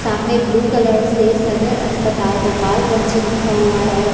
सामने blue colour से सदर अस्पताल गोपालगंज लिखा हुआ है।